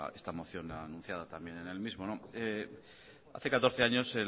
esta moción anunciada también en el mismo hace catorce años